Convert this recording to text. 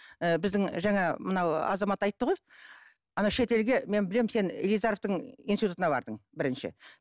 ііі біздің жаңа мынау азамат айтты ғой ана шетелге мен білемін сен илизаровтың институтына бардың бірінші